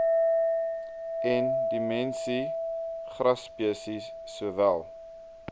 endiemiese grasspesies sowel